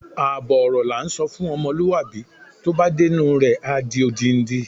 Àbọ̀ ọ̀rọ̀ la ńsọ fún ọmọlúwàbí, tó bá dé inú u rẹ̀, á di odindi.